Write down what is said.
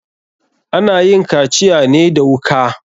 Ana yin kaciya ne da wuka.